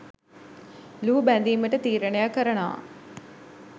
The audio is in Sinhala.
ලුහුබැඳිමට තීරණය කරනවා.